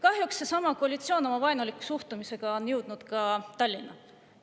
Kahjuks on seesama koalitsioon oma vaenuliku suhtumisega jõudnud ka Tallinna.